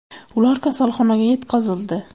Ular kasalxonaga yetkazildi.